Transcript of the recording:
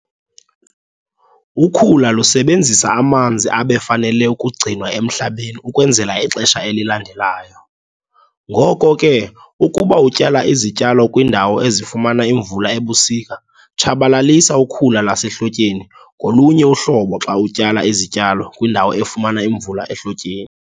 Ukhula lusebenzisa amanzi abefanele ukugcinwa emhlabeni ukwenzela ixesha elilandelayo. Ngoko ke, ukuba utyala izityalo kwiindawo ezifumana imvula ebusika, tshabalalisa ukhula lwasehlotyeni ngolunye uhlobo xa utyala izityalo kwindawo efumana imvula ehlotyeni.